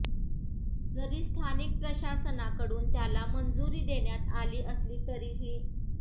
जरी स्थानिक प्रशासनाकडून त्याला मंजुरी देण्यात आली असली तरीही